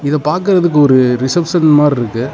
இத பாக்குறதுக்கு ஒரு ரிசப்ஷன் மாறி இருக்கு.